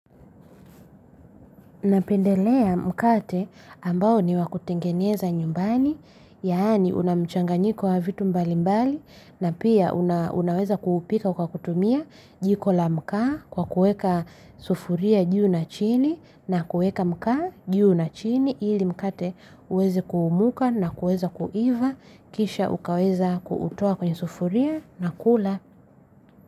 Napendelea mkate ambao ni wa kutengeneza nyumbani, yaani una mchanganyanyiko wa vitu mbalimbali, na pia unaweza kuupika kwa kutumia jiko la mkaa kwa kuweka sufuria juu na chini, na kuweka mkaa juu na chini ili mkate uweze kuumuka na kuweza kuiva, kisha ukaweza kuutoa kwenye sufuria na kula.